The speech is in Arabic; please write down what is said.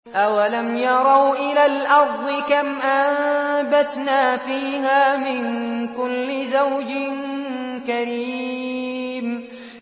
أَوَلَمْ يَرَوْا إِلَى الْأَرْضِ كَمْ أَنبَتْنَا فِيهَا مِن كُلِّ زَوْجٍ كَرِيمٍ